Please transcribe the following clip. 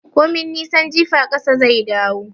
Komai nisan jifa ƙasa zai dawo